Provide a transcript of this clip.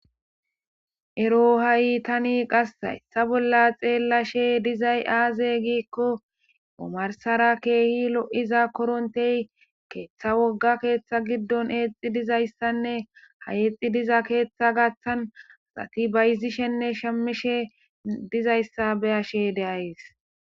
ero ha'i tani qassa etha bolla xeellashe dizay aaze giikko omarsara keehi lo'iza korontey keeththa wogga keeththa giddon eexi dizayssanne ha eexi diza keeththa gaththan asati bayzishenne shamishe dizayssa be'ashe de'ays